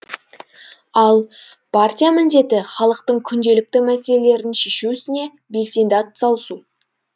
ал партия міндеті халықтың күнделікті мәселелерін шешу ісіне белсенді атсалысу